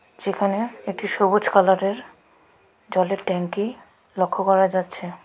এখানে একটা সবুজ কালারের জলের ট্যাংকি লক্ষ্য করা যাচ্ছে.